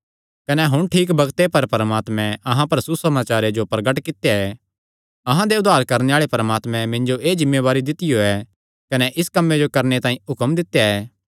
कने हुण ठीक बग्ते पर परमात्मे अहां पर सुसमाचारे जो प्रगट कित्या ऐ अहां दे उद्धार करणे आल़े परमात्मे मिन्जो एह़ जिम्मेवारी दित्तियो ऐ कने इस कम्मे जो करणे तांई हुक्म दित्या ऐ